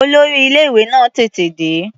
Olórí ilé-ìwé náà tètè dé.